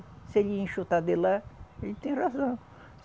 Se ele enxutar de lá, ele tem razão.